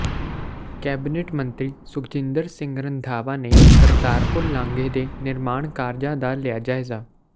cabinet ਮੰਤਰੀ ਸੁਖਜਿੰਦਰ ਸਿੰਘ ਰੰਧਾਵਾ ਨੇ ਕਰਤਾਰਪੁਰ ਲਾਂਘੇ ਦੇ ਨਿਰਮਾਣ ਕਾਰਜਾਂ ਦਾ ਲਿਆ ਜਾਇਜ਼ਾ